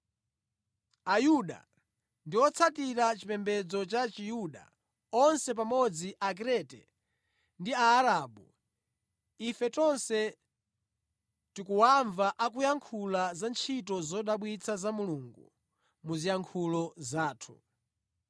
Ayuda ndi otsatira chipembedzo cha Chiyuda onse pamodzi; Akrete ndi Aarabu, ife tonse tikuwamva akuyankhula za ntchito zodabwitsa za Mulungu mu ziyankhulo zathu.”